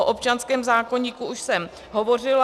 O občanském zákoníku už jsem hovořila.